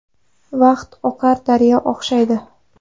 Vaqt oqar daryoga o‘xshaydi.